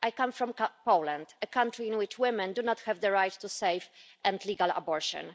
I come from Poland, a country in which women do not have the right to safe and legal abortion.